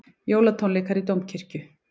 Jólatónleikar í Dómkirkju